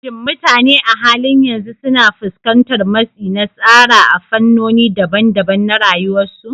Shin mutane a halin yanzu suna fuskantar matsi na tsara a fannoni daban-daban na rayuwarsu?